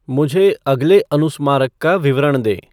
मुझे अगले अनुस्मारक का विवरण दें